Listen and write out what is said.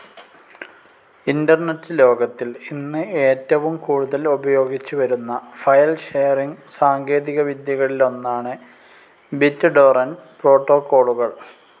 Internet ലോകത്തിൽ ഇന്ന് എറ്റവും കൂടുതൽ ഉപയോഗിച്ചു വരുന്ന ഫയൽ ഷെയറിംഗ്‌ സാങ്കേതികവിദ്യകളിലൊന്നാണ് ബിറ്റ്‌ ടോറന്റ്‌ പ്രോട്ടോ‍കോളുകൾ.